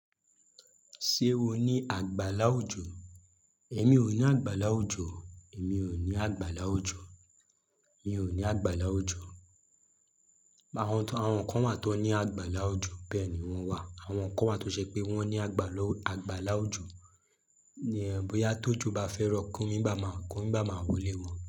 Ṣé o ní àgbàlá ojo? Èmi ò ní àgbàláwùjọ. Èmi ò ní àgbàláwùjọ. Mi ò ní àgbàlá ojo. Àwọn kan wà tó ní àgbàláwùjọ, bẹ́ẹ̀ ni wọ́n wà. Àwọn kan wà tó ṣe pé wọ́n ní àgbàlá ojo. Bí yá tó jobbá fẹ́ rọ, Komi gbà máa wọlé wọn.